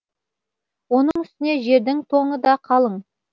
оның үстіне жердің тоңы да қалың